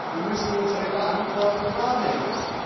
Wir müssen unsere Verantwortung wahrnehmen.